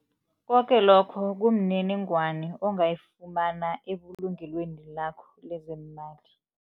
Koke lokho kumniningwani ongayifumana ebulungelweni lakho lezeemali.